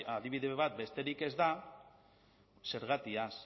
adibide bat besterik ez da zergatiaz